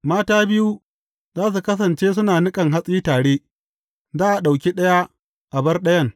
Mata biyu za su kasance suna niƙan hatsi tare, za a ɗauki ɗaya, a bar ɗayan.